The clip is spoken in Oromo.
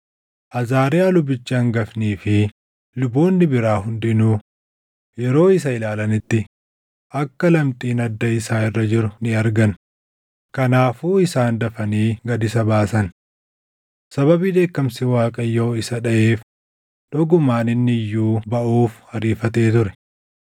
Azaariyaa lubichi hangafnii fi luboonni biraa hundinuu yeroo isa ilaalanitti akka lamxiin adda isaa irra jiru ni argan; kanaafuu isaan dafanii gad isa baasan. Sababii dheekkamsi Waaqayyoo isa dhaʼeef dhugumaan inni iyyuu baʼuuf ariifatee ture.